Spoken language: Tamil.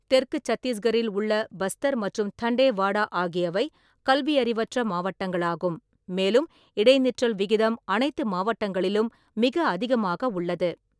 தெற்கு சத்தீஸ்கரில் உள்ள பஸ்தர் மற்றும் தண்டேவாடா ஆகியவை கல்வியறிவற்ற மாவட்டங்களாகும், மேலும் இடைநிற்றல் விகிதம் அனைத்து மாவட்டங்களிலும் மிக அதிகமாக உள்ளது.